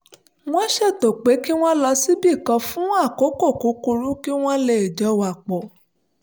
wọ́n ṣètò pé kí wọ́n lọ síbì kan fún àkókò kúkúrú kí wọ́n lè jọ wà pa pọ̀